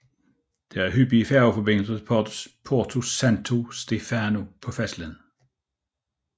Der er hyppige færgeforbindelser til Porto Santo Stefano på fastlandet